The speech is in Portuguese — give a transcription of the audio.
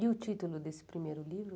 E o título desse primeiro livro?